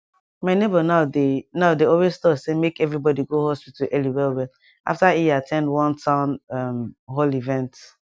my neighbor now dey now dey always talk say make everybody go hospital early well well after e at ten d one town um hall event